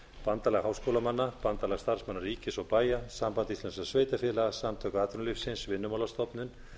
bandalag háskólamanna bandalag starfsmanna ríkis og bæja samband íslenskra sveitarfélaga samtök atvinnulífsins vinnumálastofnun